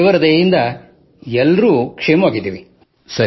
ಮತ್ತು ದೇವರ ದಯೆಯಿಂದ ಎಲ್ಲರೂ ಕ್ಷೇಮವಾಗಿರಲಿ